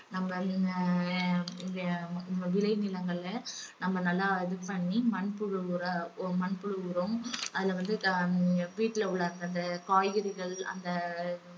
நம்ம ஹம் ஆஹ் விலை நிலங்களை நம்ம நல்லா இது பண்ணி மண்புழு உர~ மண்புழு உரம் அதுல வந்து ஹம் வீட்டில உள்ள அந்த அந்த காய்கறிகள் அந்த